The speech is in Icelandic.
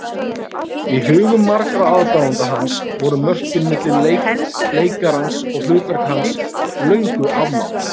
Í hugum margra aðdáenda hans voru mörkin milli leikarans og hlutverka hans löngu afmáð.